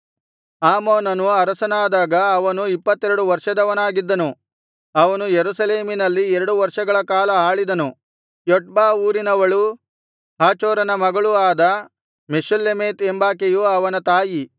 ಆಮೋನನು ಅರಸನಾದಾಗ ಅವನು ಇಪ್ಪತ್ತೆರಡು ವರ್ಷದವನಾಗಿದ್ದನು ಅವನು ಯೆರೂಸಲೇಮಿನಲ್ಲಿ ಎರಡು ವರ್ಷಗಳ ಕಾಲ ಆಳಿದನು ಯೊಟ್ಬಾ ಊರಿನವಳೂ ಹಾರೂಚನ ಮಗಳೂ ಆದ ಮೆಷುಲ್ಲೆಮೆತ್ ಎಂಬಾಕೆಯು ಅವನ ತಾಯಿ